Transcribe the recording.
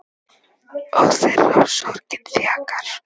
Og þeirra sem sorgin þjakar.